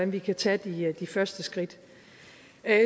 vi kan tage de første skridt